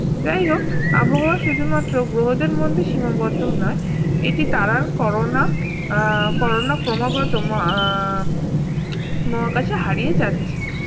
যাইহোক আবহাওয়া শুধুমাত্র গ্রহদের মধ্যে সীমাবদ্ধ নয় এটি তারার করণা আহ করণা ক্রমাগত আহ মহাকাশে হারিয়ে যাচ্ছে